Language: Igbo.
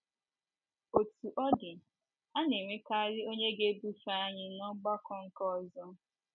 Otú ọ dị, a na - enwekarị onye ga - ebufe anyị n’ọgbakọ nke ọzọ.